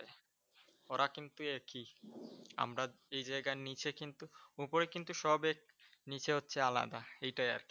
ওরা কিন্তু একই । আমরা যেই জায়গার নীচে কিন্তু অপরে কিন্তু সব এক, নিচে হচ্চে আলাদা। এইটাই আর কি।